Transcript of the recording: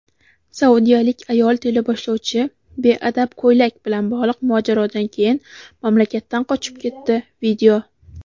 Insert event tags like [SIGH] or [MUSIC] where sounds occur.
Saudiyalik ayol teleboshlovchi "beadab ko‘ylak" bilan bog‘liq mojarodan keyin mamlakatdan qochib ketdi. [VIDEO]